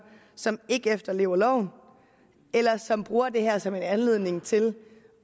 som ikke efterlever loven eller som bruger det her som en anledning til